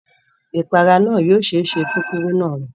Ìpara náà yio sẹsẹ́ fún kúrúnà rẹ